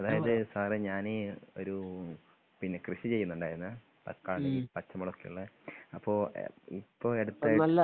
അതായത് സാറേ ഞാന് ഒരു പിന്നെ കൃഷിചെയ്യുന്നുണ്ടായിരുന്നേ തക്കാളി പച്ചമുളക് ഒക്കെയുള്ളള്ളേ അപ്പോ ഇപ്പൊ അടുത്ത